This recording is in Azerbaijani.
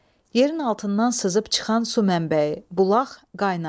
Yerin altından sızıb çıxan su mənbəyi, bulaq, qaynaq.